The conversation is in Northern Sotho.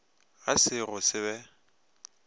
ga se go se be